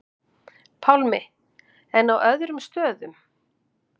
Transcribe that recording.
Pálmi: En á öðrum stöðum?